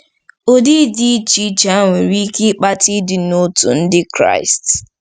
Ụdị dị iche iche a nwere ike ịkpata ịdị n'otu Ndị Kraịst.